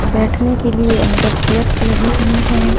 बैठने के लिए अंदर चेयर्स लगी हुई है।